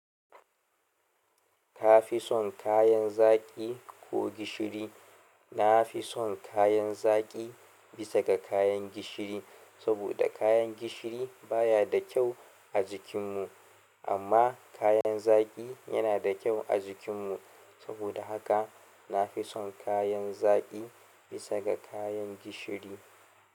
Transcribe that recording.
Ka fi son kayan zaƙi ko gishiri? Na fi son kayan zaƙi bisa ga kayan gishiri. Saboda kayan gishiri baya da kyau a jikinmu, amma kayan zaƙi yana da kyau a jikinmu. Saboda haka na fi son kayan zaki bisa ga kayan gishiri.